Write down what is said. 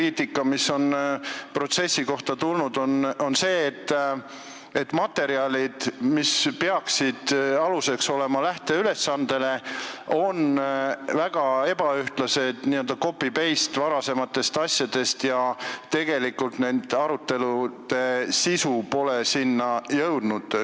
Teiseks, protsessi kohta on tulnud palju kriitikat, et materjalid, mis peaksid olema lähteülesande aluseks, on väga ebaühtlased, n-ö copy ja paste varasematest asjadest, ja et tegelikult pole nende arutelude sisu sinna jõudnud.